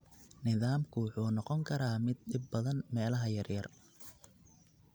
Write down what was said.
Nidaamku wuxuu noqon karaa mid dhib badan meelaha yaryar.